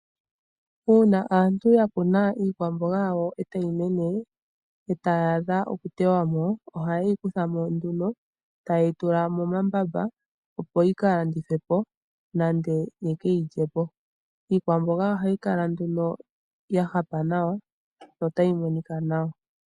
Uuna aantu ya kuna iikwamboga yawo e tayi mene, e tayi adha okuteywa mo, ohayeyi kuthamo nduno, tayeyi tula momambamba opo yi kalandithwepo, nenge yekeyi lyepo. Iikwamboga ohayi kala nduno ya hapa nawa no tayi monika nawa.